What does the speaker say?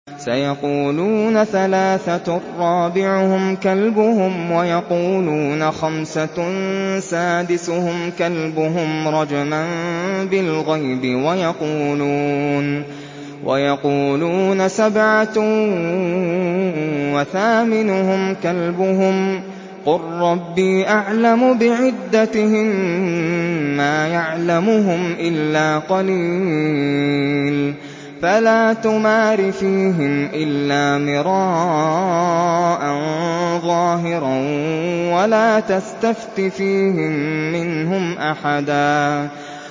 سَيَقُولُونَ ثَلَاثَةٌ رَّابِعُهُمْ كَلْبُهُمْ وَيَقُولُونَ خَمْسَةٌ سَادِسُهُمْ كَلْبُهُمْ رَجْمًا بِالْغَيْبِ ۖ وَيَقُولُونَ سَبْعَةٌ وَثَامِنُهُمْ كَلْبُهُمْ ۚ قُل رَّبِّي أَعْلَمُ بِعِدَّتِهِم مَّا يَعْلَمُهُمْ إِلَّا قَلِيلٌ ۗ فَلَا تُمَارِ فِيهِمْ إِلَّا مِرَاءً ظَاهِرًا وَلَا تَسْتَفْتِ فِيهِم مِّنْهُمْ أَحَدًا